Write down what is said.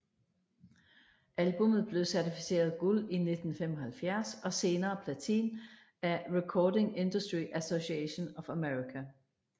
Albummet blev certificeret guld i 1975 og senere platin af Recording Industry Association of America